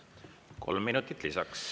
Kolm minutit lisaks.